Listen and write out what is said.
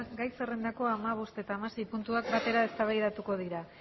gai zerrendako hamabost eta hamasei puntuak batera eztabaidatuko dira